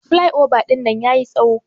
Plyova dinnan yayi tsawo.